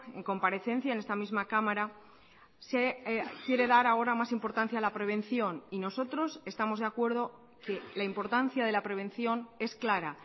en comparecencia en esta misma cámara se quiere dar ahora más importancia a la prevención y nosotros estamos de acuerdo que la importancia de la prevención es clara